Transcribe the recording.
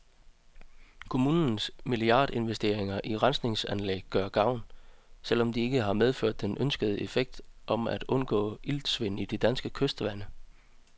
Kommunernes milliardinvesteringer i rensningsanlæg gør gavn, selv om de ikke har medført den ønskede effekt om at undgå iltsvind i de danske kystvande.